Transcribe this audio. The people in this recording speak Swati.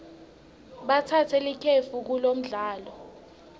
batsatse likefu kulomdlalo